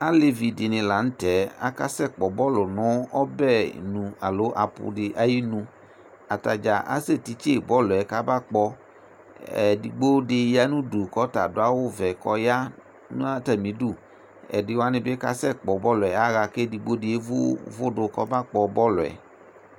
alevi di ni lantɛ aka sɛ kpɔ bɔlu no ɔbɛ nu alo aƒu di ayi nu atadza asɛ titse bɔl yɛ ka ba kpɔ edigbo di ya n'udu k'ɔta adu awu vɛ k'ɔya n'atami du ɛdi wani bi ka sɛ kpɔ bɔl yɛ ya ɣa k'edigbo di evu uvò do k'ɔba kpɔ bɔl yɛ